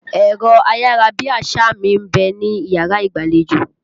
Ẹ̀rọ ayárabíàṣá mi ń bẹ níyàrá ìgbàlejò.